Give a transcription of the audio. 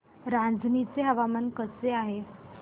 रांझणी चे हवामान कसे आहे